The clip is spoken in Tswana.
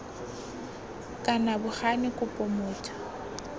kana bo gane kopo motho